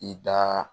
I da